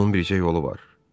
Onun bircə yolu var.